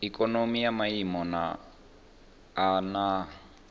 ikonomi ya maiimo a nha